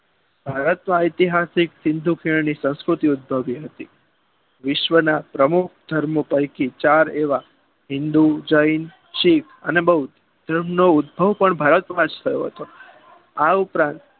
ભારતમાં એતિહાસિક સિંધુ કિરણની સ્થિતિ સંસ્કૃતિ ઉદ્ભવી હતી વિશ્વના ઉપ ધર્મો પૈકી ચાર એવા હિંદુ જૈન સીખ અને બૌધ નો ઉદ્ભવ પણ ભારતમાં થયો હતો આ ઉપરાંત